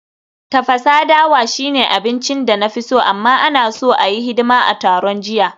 Tafasa dawa shine abincin da na fi so, amma, ana so a yi hidima a taron jiya